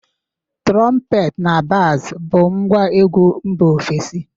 Trọmpet na baz bụ ngwa egwu mba ofesi.